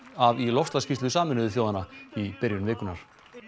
af í loftslagsskýrslu Sameinuðu þjóðanna í byrjun vikunnar